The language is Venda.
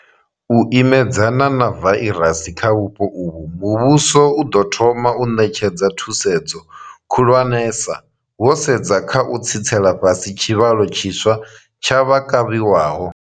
U imedzana na vairasi kha vhupo uvhu, muvhuso u ḓo thoma u ṋetshedza thusedzo khulwanesa wo sedza kha u tsitsela fhasi tshivhalo tshiswa tsha vha kavhiwaho.